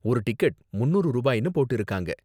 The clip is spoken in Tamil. ஒரு டிக்கெட் முன்னூறு ரூபாய்னு போட்டிருக்காங்க.